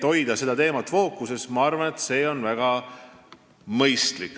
Hoida seda teemat fookuses, ma arvan, on väga mõistlik.